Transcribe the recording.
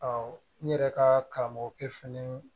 n yɛrɛ ka karamɔgɔkɛ fɛnɛ